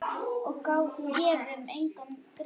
Og gefum engum grið.